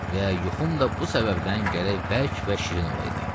Və yuxum da bu səbəbdən gərək bərk və şirin olaydı.